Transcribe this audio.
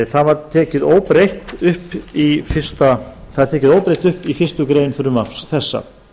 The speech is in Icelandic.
það var tekið óbreytt upp í fyrstu grein frumvarps þessa